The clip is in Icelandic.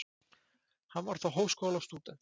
Hann var þá háskólastúdent